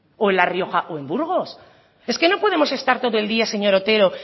o en la rioja o en burgos es que no podemos estar todo el día señor otero